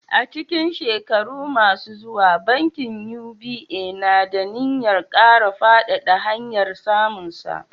A cikin shekaru masu zuwa, bankin UBA na da niyyar kara faɗaɗa hanyar samunsa.